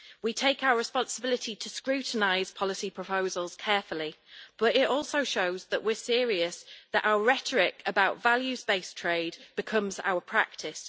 We take our responsibility to scrutinise policy proposals carefully, but it also shows that we are serious that our rhetoric about values-based trade becomes our practice.